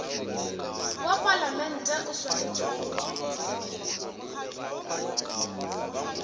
wa palamente o swanetše go